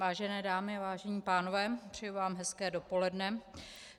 Vážené dámy, vážení pánové, přeji vám hezké dopoledne.